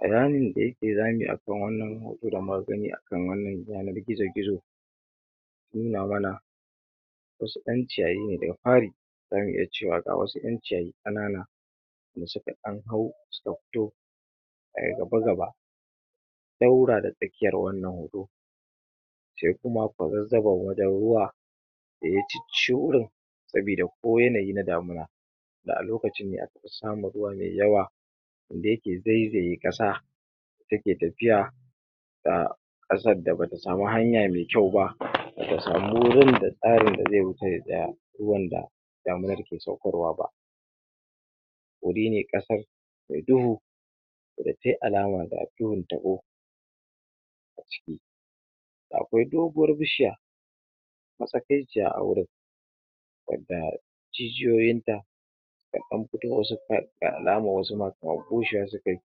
ramin da yake rami akan wan nan hoto da magani akan wan nan yanan gizo-gizo ya nuna mana wasu yan ciyayine daga fari zamu iya cewa ga wasu yan ciyayi kanana da suka dan hau suka fito[um] gaba-gaba daura da tsakiyan wan nan hoto sai kuma kwazassabon wajen ruwa da ya cicci wajen sabi da ko yanayi na damuna da a lokacin ne akafi samun ruwa mai yawa da yake zaizaye kasa take tafiya ga kasan da bata samu nhanya mai kyau ba bata samu gurin da tsarin da zai huce ya tsaya damuna ke saukarwaba hurine kasan mai duhu da sai alama da duhun tabo a ciki akwai doguwan bishiya matsakaiciya a hurin wadda jijiyoyin ta ta dan fito waje da alaman wasu kaman bushewa suka yi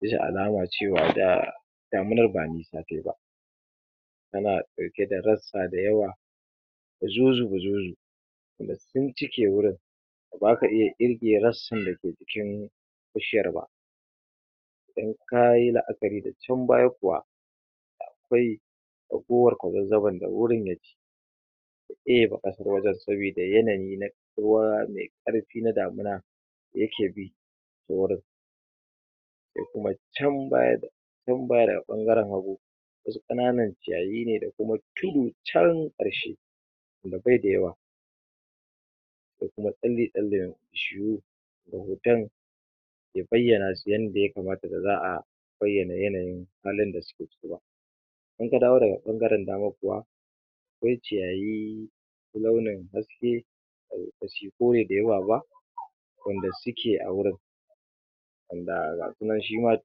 bisa alama cewa da damunan ba nisa tayi ba tana dauke da rassa da yawa guzu-zu guzu-zu duk sun cike hurin baka iya kirge rassan da ke cikin bishiyan ba in kayi laakari da chan baya kuwa akwai ragowan kwazazzabon da hurin ya ci ebe kasan wajen sabo da yanayi na ruwa mai karfi na damuna da yake bi ta hurin da kuma can baya naman ciyayine da kuma tudu cha karshe da baida yawa da dai kawai ya baiyana su yadda ya kamata da zaa ko ya baiyana halin da suke ciki ba in ka dawo daga bangaren dama kuwa yin ciyayi ko da suke a hurin ga sunan shima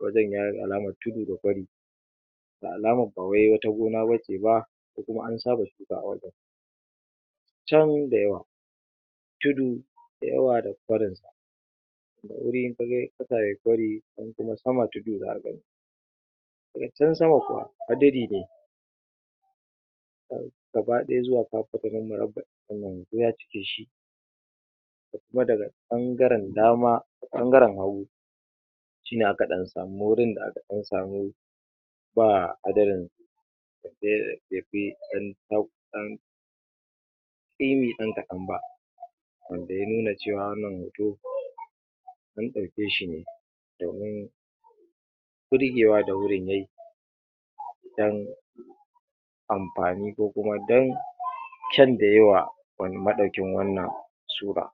wajen yayi alaman tudu da kwari ba labama akwai wata gona bace ba ko kuma an saba shuka a wajen tudu da yawa da kwari in waje yayi tudu da kwari, chan kuma kasa tudu zaka gani da ga san sama kuma hadiri ne ga ba daya zuwa duk ya cike shi kuma da ga bangaren dama bangaren hagu shine aka dan samu gurin da aka dan samu wan da ya nuna cewa wan nan hoto mun daukeshine domin burgewa da hurin yayi idan anfani ko kuma dan kyan da yayiwa